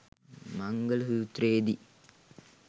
මංගල සූත්‍රයේ දී